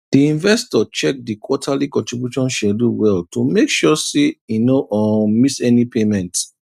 the investor check the quarterly contribution schedule well to make sure say e no um miss any payment